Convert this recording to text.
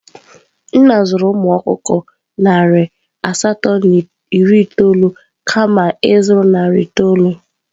Nna zụrụ umu okukọ nari asatọ na iri itoolu kama ịzụrụ narị itoolu?